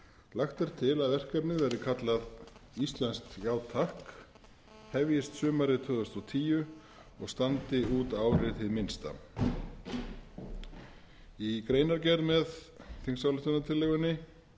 lagt er til að verkefnið verði kallað íslenskt já takk hefjist sumarið tvö þúsund og tíu og standi út árið hið minnsta í greinargerð með þingsályktunartillögunni